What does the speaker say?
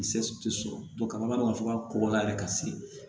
tɛ sɔrɔ ka b'a dɔn ka fɔ ka kɔrɔ la yɛrɛ ka se